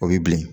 O ye bilen